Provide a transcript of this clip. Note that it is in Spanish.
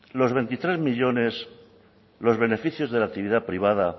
los veintitrés millónes los beneficios de la actividad privada